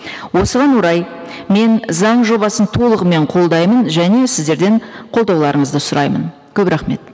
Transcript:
осыған орай мен заң жобасын толығымен қолдаймын және сіздерден қолдауларыңызды сұраймын көп рахмет